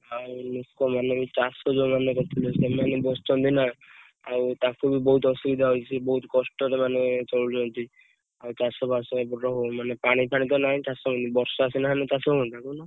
ଆଉ ଲୋକ ମାନେ ଚାଷ ଯଉ ମାନେ କରିଥିଲେ ସେମାନେ ବି ବସଛନ୍ତି ନା ଆଉ ତାଙ୍କୁ ବି ନହୁତ ଅସୁବିଧା ହଉଛି ବହୁତ କଷ୍ଟରେ ମାନେ ଚାଲୁଛନ୍ତି ଆଉ ଚାଷ ବାସ ଏତେ ଟା ହଉନି ପାଣି ଫଣୀ ତ ନାହି ବର୍ଷା ସିନା ହେଲେ ଚାଷ ହୁଅନ୍ତା କହୁନ।